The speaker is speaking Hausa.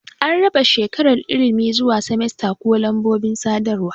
An raba shekarar ilimi zuwa semesta ko lambobin sadarwa.